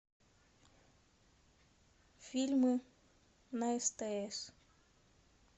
фильмы на стс